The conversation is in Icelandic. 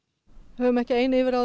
við höfum ekki ein yfirráð